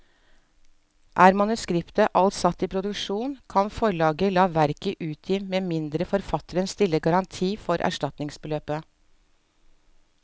Er manuskriptet alt satt i produksjon, kan forlaget la verket utgi med mindre forfatteren stiller garanti for erstatningsbeløpet.